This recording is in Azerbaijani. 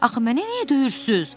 Axı mənə niyə döyürsüz?